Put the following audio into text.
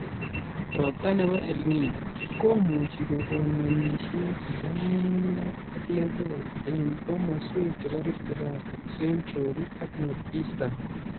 Robta nebo EL Nino komuchi kokon ng'emisiet nebo nyung'unyek ak lebek eng kemoswek chebo Rift Valley, Central ak North-Eastern